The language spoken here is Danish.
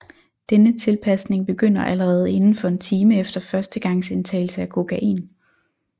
Denne tilpasning begynder allerede inden for en time efter førstegangsindtagelse af kokain